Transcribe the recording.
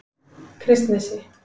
Kristnesi